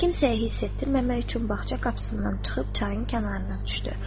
Kimsəyə hiss etdirməmək üçün bağça qapısından çıxıb çayın kənarına düşdü.